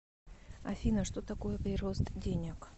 афина что такое прирост денег